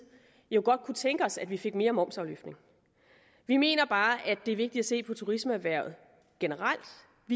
godt kunne tænke os at vi fik mere momsafløftning vi mener bare at det er vigtigt at se på turismeerhvervet generelt